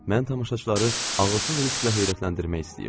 Mən tamaşaçıları ağılsız risklə heyrətləndirmək istəyirdim.